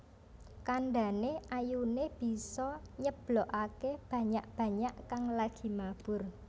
Kandhane ayune bisa nyeblokake banyak banyak kang lagi mabur